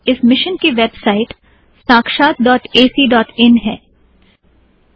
इस मिशन की website Sakshat dot A C dot इनsakshaathacइन है